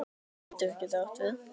Keldur getur átt við